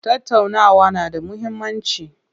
Tattaunawa na da muhimmanci.